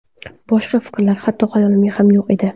Boshqa fikrlar hatto xayolimda ham yo‘q edi.